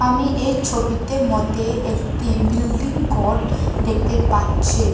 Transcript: আমি এই ছবিতে মধ্যে একটি বিল্ডিং গর দেখতে পাচ্ছে।